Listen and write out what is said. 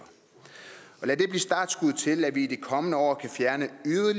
startskud til at vi i de kommende år kan fjerne